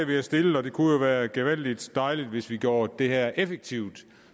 vi har stillet og det kunne jo være gevaldig dejligt hvis vi gjorde det her effektivt